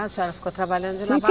A senhora ficou trabalhando de lavar